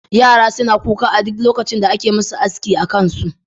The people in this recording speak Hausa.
yara suna kuka a duk lokacin da ake musu aski akansu